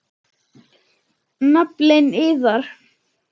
Naflinn iðar.